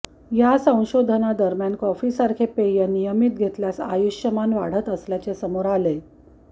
या संशोधनादरम्यान कॉफीसारखे पेय नियमित घेतल्यास आयुष्यमान वाढत असल्याचे समोर आलेय